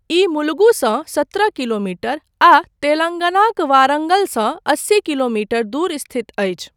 ई मुलुगुसँ सत्रह किलोमीटर आ तेलङ्गानाक वारङ्गलसँ अस्सी किलोमीटर दूर स्थित अछि।